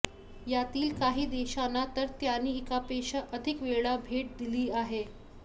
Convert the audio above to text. यातील काही देशांना तर त्यांनी एकापेक्षा अधिक वेळा भेट दिली आहे